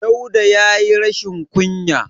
Dauda ya yi rashin kunya.